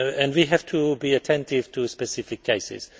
We have to be attentive to specific cases.